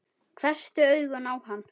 Hvessti augun á hann.